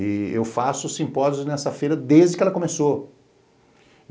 E eu faço simpósios nessa feira desde que ela começou.